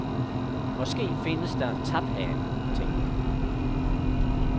Måske findes der en taphane, tænkte han.